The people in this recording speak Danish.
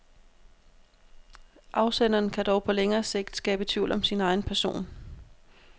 Afsenderen kan dog på længere sigt skabe tvivl om sin egen person.